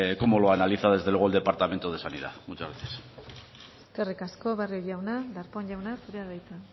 cómo lo analiza desde luego el departamento de sanidad muchas gracias eskerrik asko barrio jauna darpón jauna zurea da hitza